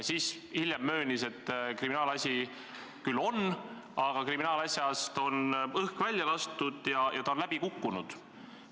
Veidi hiljem ta möönis, et kriminaalasi küll on, aga sellest on õhk välja lastud ja see on läbi kukkunud.